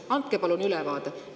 Andke palun ülevaade!